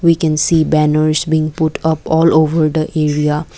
we can see banners being put up all over the area.